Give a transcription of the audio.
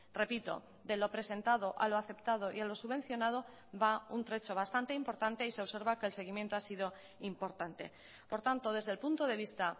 repito de lo presentado a lo aceptado y a lo subvencionado va un trecho bastante importante y se observa que el seguimiento ha sido importante por tanto desde el punto de vista